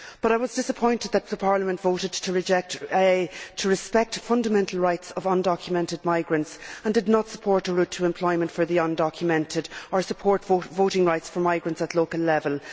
I was disappointed that Parliament voted to respect fundamental rights of undocumented migrants and yet did not support a route to employment for the undocumented, or support voting rights for migrants at local level.